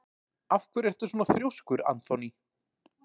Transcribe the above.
Af hverju ertu svona þrjóskur, Anthony?